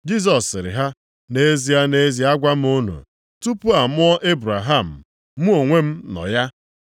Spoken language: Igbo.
Jisọs sịrị ha, “Nʼezie, nʼezie agwa m unu, tupu amụọ Ebraham, mụ onwe m nọ ya.”